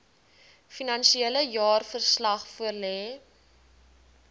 finansiële jaarverslag voorlê